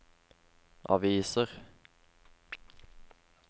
aviser